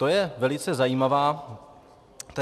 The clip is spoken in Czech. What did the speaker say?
To je velice zajímavá věc.